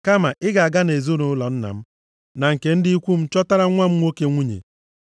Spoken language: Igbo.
Kama ị ga-aga nʼezinaụlọ nna m, na nke ndị ikwu m chọtara nwa m nwoke nwunye.’